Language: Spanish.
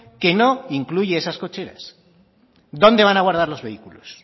que no incluye esas cocheras dónde van a guardar los vehículos